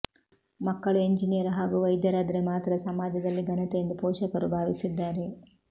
ಮಕ್ಕಳು ಎಂಜಿನಿಯರ್ ಹಾಗೂ ವೈದ್ಯರಾದರೆ ಮಾತ್ರ ಸಮಾಜದಲ್ಲಿ ಘನತೆ ಎಂದು ಪೋಷಕರು ಭಾವಿಸಿದ್ದಾರೆ